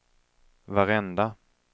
varenda